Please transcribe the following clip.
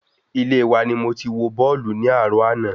Ilé wa ni mo ti wo bọ́ọ̀lù ní àárò ana